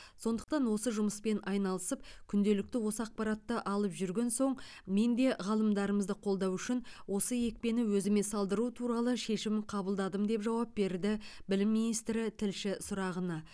сондықтан осы жұмыспен айналысып күнделікті осы ақпаратты алып жүрген соң мен де ғалымдарымызды қолдау үшін осы екпені өзіме салдыру туралы шешім қабылдадым деп жауап берді білім министрі тілші сұрағына